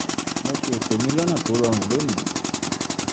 mo ṣe eto mi lọna to rọrun lonìí